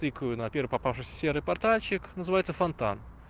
тыкаю на первый попавшийся серый портальчик называется фонтан